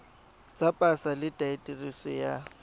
tsa pasa le diaterese tsa